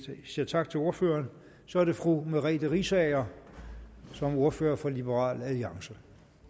vi siger tak til ordføreren så er det fru merete riisager som ordfører for liberal alliance